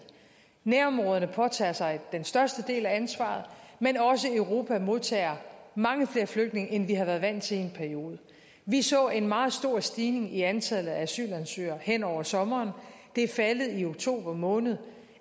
nærområderne påtager sig den største del af ansvaret men også europa modtager mange flere flygtninge end vi har været vant til i en periode vi så en meget stor stigning i antallet af asylansøgere hen over sommeren det er faldet i oktober måned